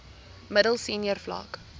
middel senior vlak